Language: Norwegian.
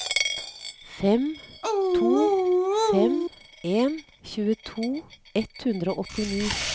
fem to fem en tjueto ett hundre og åttini